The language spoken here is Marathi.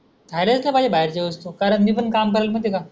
खायलास नाही पाहिजे बाहेरच्या वस्तु कारण मी पण काम करून माहिती आहे का?